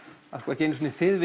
ekki einu sinni þið